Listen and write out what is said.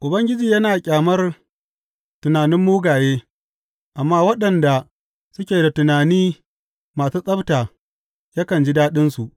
Ubangiji yana ƙyamar tunanin mugaye, amma waɗanda suke da tunani masu tsabta yakan ji daɗinsu.